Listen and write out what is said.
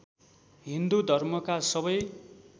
हिन्दू धर्मका सबै